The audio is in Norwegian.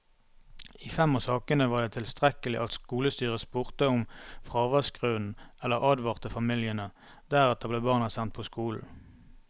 I fem av sakene var det tilstrekkelig at skolestyret spurte om fraværsgrunn eller advarte familiene, deretter ble barna sendt på skolen.